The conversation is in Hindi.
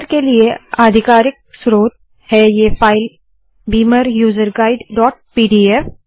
बीमर के लिए आधिकारक स्रोत है ये file Beamer user guide dot P D F